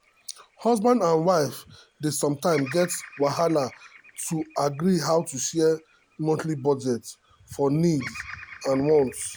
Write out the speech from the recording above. husband and wife dey sometimes get wahala to agree how to share monthly budget for needs and wants.